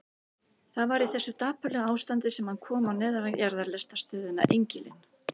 Það var í þessu dapurlega ástandi sem hann kom á neðanjarðarlestarstöðina Engilinn.